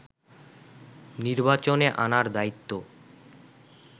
নির্বাচনে আনার দায়িত্ব